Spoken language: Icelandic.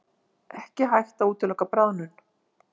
Ekki hægt að útiloka bráðnun